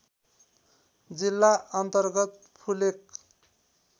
जिल्ला अन्तर्गत फुलेक